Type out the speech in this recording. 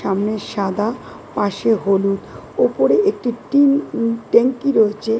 সামনে সাদা পাশে হলুদ ওপরে একটি টিন উম ট্যাঙ্কি রয়েছে।